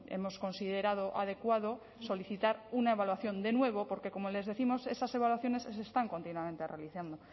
hemos considerado adecuado solicitar una evaluación de nuevo porque como les décimos esas evaluaciones se están continuamente realizando